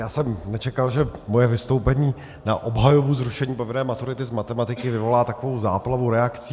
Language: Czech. Já jsem nečekal, že moje vystoupení na obhajobu zrušení povinné maturity z matematiky vyvolá takovou záplavu reakcí.